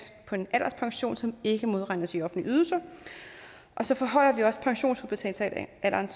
på en alderspension som ikke modregnes i offentlige ydelser så forhøjer vi også pensionsudbetalingsalderen